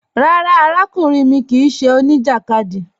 Rárá, àràkùnrìn mi kíì ṣẹ́ oníjakádì.